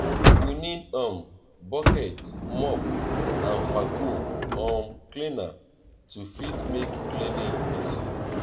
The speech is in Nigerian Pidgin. we need um bucket mop and vaccum um cleaner to fit make cleaning easy